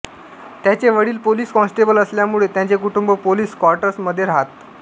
त्यांचे वडील police constable असल्यामुळे त्यांचे कुटुंब पोलीस क्वार्टर्समध्ये राहत